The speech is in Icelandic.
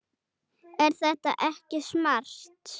Er þetta ekki smart?